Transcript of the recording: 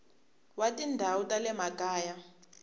wa tindhawu ta le makaya